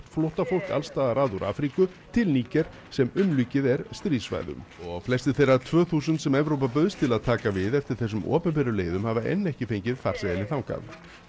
flóttafólk alls staðar að úr Afríku til Níger sem umlukið er stríðssvæðum og flestir þeirra tvö þúsund sem Evrópa bauðst til að taka við eftir þessum opinberu leiðum hafa enn ekki fengið farseðilinn þangað